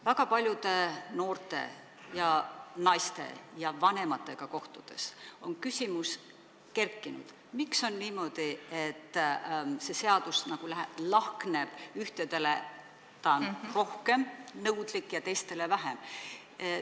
Väga paljude noorte ja naistega, ka vanemate inimestega kohtudes on tekkinud küsimus, miks on niimoodi, et see seadus nagu lahkneb, ühtede suhtes on ta rohkem nõudlik ja teiste suhtes vähem.